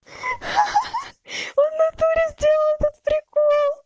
ха ха ха он в натуре сделал этот прикол